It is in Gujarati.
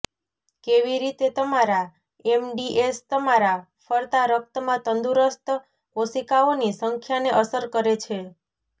કેવી રીતે તમારા એમડીએસ તમારા ફરતા રક્તમાં તંદુરસ્ત કોશિકાઓની સંખ્યાને અસર કરે છે